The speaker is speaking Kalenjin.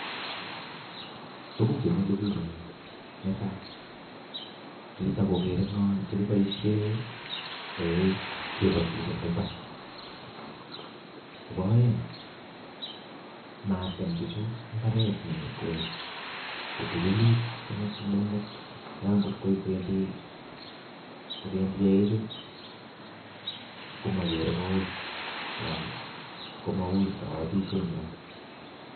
Tugun chemile biik en yu, netai ko kitakokeere ngo che kiboishien eik kibotishie eng imbar, nebo oeng matem buchu mbaret simutai ngot kwendii kobendi eichu komokere koui kobotisyetnywan